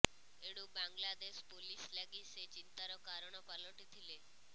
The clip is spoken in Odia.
ଏଣୁ ବାଂଲାଦେଶ ପୋଲିସ ଲାଗି ସେ ଚିନ୍ତାର କାରଣ ପାଲଟିଥିଲେ